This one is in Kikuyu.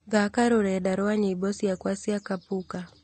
thaaka rũrenda rwa nyĩmbo ciakwa cia kapuka